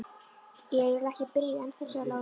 Ég er eiginlega ekki byrjaður ennþá, sagði Lási.